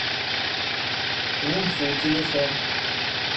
лун фу телефон